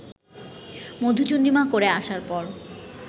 মধুচন্দ্রিমা করে আসার পর